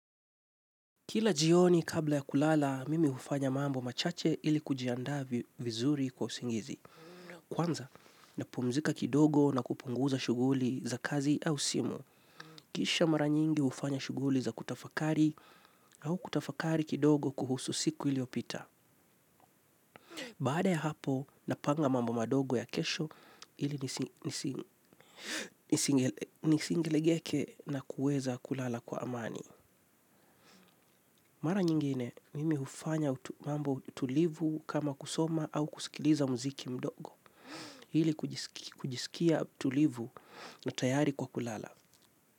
Kila jioni kabla ya kulala, mimi hufanya mambo machache ili kujiandaa vizuri kwa usingizi. Kwanza, napumzika kidogo na kupunguza shuguli za kazi au simu. Kisha mara nyingi hufanya shuguli za kutafakari au kutafakari kidogo kuhusu siku iliyopita. Baada ya hapo, napanga mambo madogo ya kesho ili nisilegeke na kuweza kulala kwa amani. Mara nyingine, mimi hufanya mambo tulivu kama kusoma au kusikiliza muziki mdogo. Hili kujisikia tulivu na tayari kwa kulala.